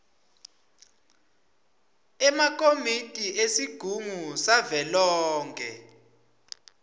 emakomiti esigungu savelonkhe